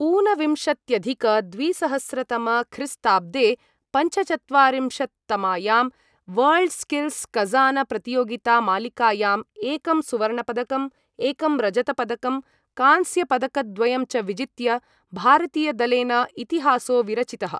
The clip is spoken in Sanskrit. ऊनविंशत्यधिकद्विसहस्रतमख्रीस्ताब्दे पञ्चचत्वारिंशत्तमायां वर्ल्डस्किल्स कज़ानप्रतियोगितामालिकायाम् एकं सुवर्णपदकम्, एकं रजतपदकं, कांस्यपदकद्वयं च विजित्य भारतीयदलेन इतिहासो विरचितः।